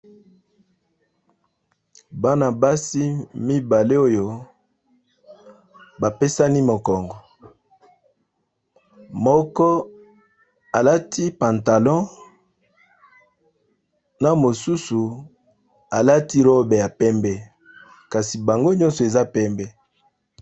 Bana basi mibale oyo ba pesani mokongo moko a lati pantalon, na mosusu a lati robe ya pembe, kasi bango nyonso eza pembe .